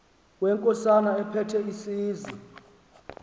wenkosana ephethe isizwe